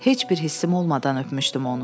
Heç bir hissim olmadan öpmüşdüm onu.